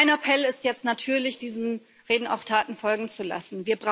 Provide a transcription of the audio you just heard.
Mein Appell ist jetzt natürlich, diesen Reden auch Taten folgen zu lassen.